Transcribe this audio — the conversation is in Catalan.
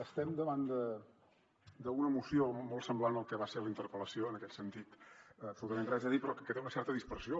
estem davant d’una moció molt semblant al que va ser la interpel·lació en aquest sentit absolutament res a dir però que té una certa dispersió